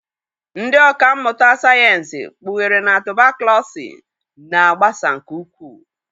Ndị ọkà mmụta sayensị kpughere na tubaklọsị na-agbasa nke ukwuu